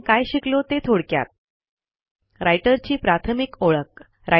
आपण काय शिकलो ते थोडक्यात160 राइटर ची प्राथमिक ओळख